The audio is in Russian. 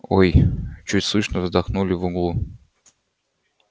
ой чуть слышно вздохнули в углу